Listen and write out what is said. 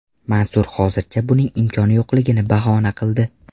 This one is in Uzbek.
Mansur hozircha buning imkoni yo‘qligini bahona qildi.